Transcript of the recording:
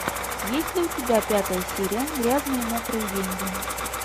есть ли у тебя пятая серия грязные мокрые деньги